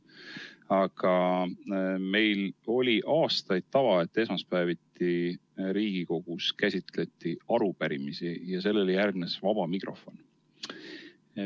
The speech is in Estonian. Aga meil oli aastaid tava, et esmaspäeviti Riigikogus käsitleti arupärimisi ja sellele järgnes vaba mikrofon.